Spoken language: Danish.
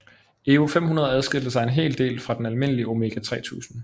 EVO 500 adskilte sig en hel del fra den almindelige Omega 3000